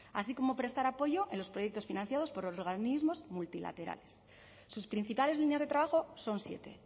así como prestar apoyo en los proyectos financiados por organismos multilaterales sus principales líneas de trabajo son siete